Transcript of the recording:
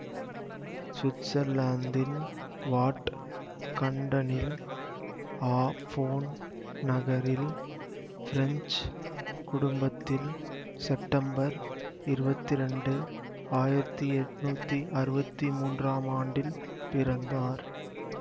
சுவிட்சர்லாந்தின் வாட் கன்டனில் ஆபோன் நகரில் பிரெஞ்சு குடும்பத்தில் செப்டம்பர் இருவத்தி இரண்டு ஆயிரத்தி எட்ணூத்தி அறுவத்தி மூன்றாம் ஆண்டில் பிறந்தார்